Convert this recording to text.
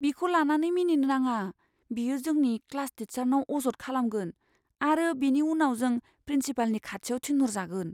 बिखौ लानानै मिनिनो नाङा। बियो जोंनि क्लास टीचारनाव अजद खालामगोन आरो बेनि उनाव जों प्रिन्सिपालनि खाथियाव थिनहरजागोन।